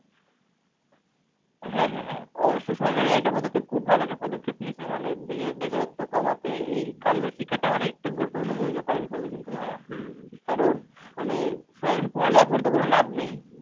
হ্যাঁ হ্যাঁ হ্যাঁ অবশ্যই সরকারের এই একটা পদক্ষেপ খুব ভালো একটা পদক্ষেপ নিয়েছে। মানে দেশের বেকারত্ব কমাতে এই কারিগরি শিক্ষাটা অনেকটা গুরুত্বপূর্ণ ভূমিকা পালন করবে কিন্তু ভাইয়া। কারণ মানে এখন পড়ালেখা করে তো কোনো লাভ নেই।